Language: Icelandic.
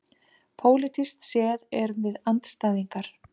Pólitískt séð erum við andstæðingar